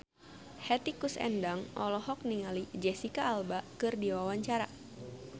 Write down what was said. Hetty Koes Endang olohok ningali Jesicca Alba keur diwawancara